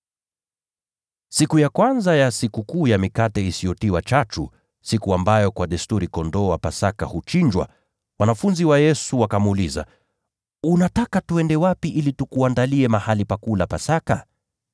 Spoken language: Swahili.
Siku ya kwanza ya Sikukuu ya Mikate Isiyotiwa Chachu, siku ambayo kwa desturi mwana-kondoo wa Pasaka huchinjwa, wanafunzi wa Yesu wakamuuliza, “Unataka twende wapi ili tukuandalie mahali pa kula Pasaka?”